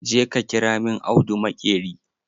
Je ka ƙira min audu maƙeri!